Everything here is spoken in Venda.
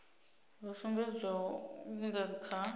ho sumbedzwaho hu nga kha